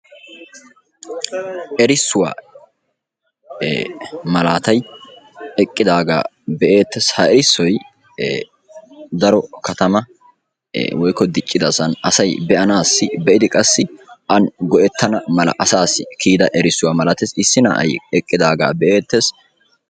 Erissuwa maalatay eqqidaga be'etees. Ha erissoy daro katama woykko diccidasan asaay beanasi beidi qassi a go'ettana mala asaasi kiyida erissuwa malatees. Issi naa'ay eqqidaga be'etees.